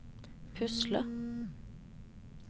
pusle